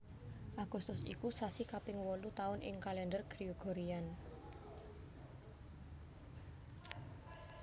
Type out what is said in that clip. Agustus iku sasi kaping wolu taun ing Kalèndher Gregorian